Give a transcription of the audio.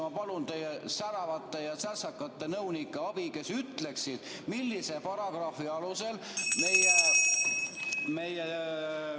Ma palun teie säravate ja särtsakate nõunike abi, kes ütleksid, millise paragrahvi alusel meie ...